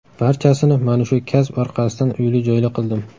Barchasini mana shu kasb orqasidan uyli-joyli qildim.